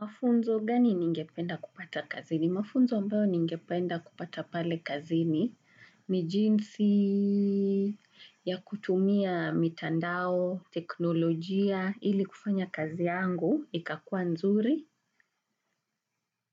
Mafunzo gani ningependa kupata kazini? Mafunzo ambayo ningependa kupata pale kazini ni jinsi ya kutumia mitandao, teknolojia, ili kufanya kazi yangu, ikakuwa nzuri.